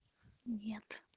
нет